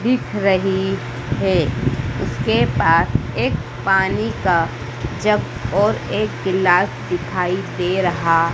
दिख रही है इसके पास एक पानी का जग और एक ग्लास दिखाई दे रहा--